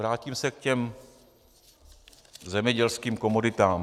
Vrátím se k těm zemědělským komoditám.